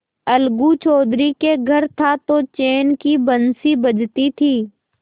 अलगू चौधरी के घर था तो चैन की बंशी बजती थी